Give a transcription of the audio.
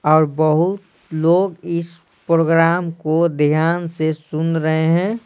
और बहुत लोग इस प्रोग्राम को ध्यान से सुन रहे हैं।